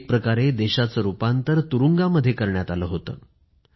एक प्रकारे देशाचं रूपांतर तुरुंगांमध्ये करण्यात आलं होतं